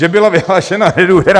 Že byla vyhlášena nedůvěra...